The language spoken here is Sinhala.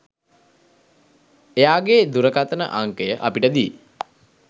එයාගෙ දුරකථන අංකය අපිට දී